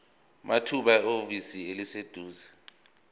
mathupha ehhovisi eliseduzane